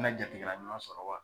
Mi na jatigila ɲuman sɔrɔ wa?